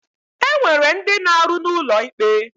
E nwere ndi na-aru n'ulo ikpe.